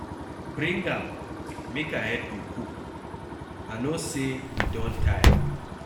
Bring am make I help you cook, I no say you don tire.